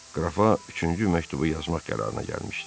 Qrafa üçüncü məktubu yazmaq qərarına gəlmişdi.